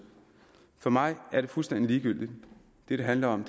for mig er det fuldstændig ligegyldigt det det handler om